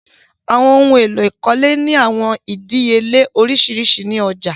Àwọn ohun èlò ìkọ́lé ni awọn idìíyèlẹ̀ oriṣiríṣi ni ọ̀já.